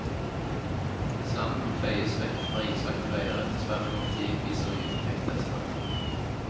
Sanden feies vekk fra islagte veier etter svært kort tid, viser nye trafikktester.